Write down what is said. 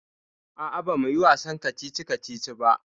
Aa, ba muyi wasannin kacici kacici ba